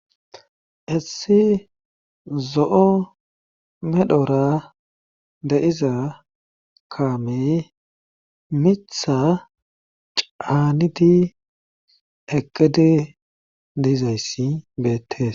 essi zo7o medhora de iza kaamey mitha caanidi ekedi diizayssi beettes